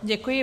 Děkuji.